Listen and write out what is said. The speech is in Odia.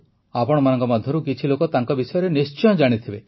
ଆପଣମାନଙ୍କ ମଧ୍ୟରୁ କିଛି ଲୋକ ତାଙ୍କ ବିଷୟରେ ନିଶ୍ଚୟ ଜାଣିଥିବେ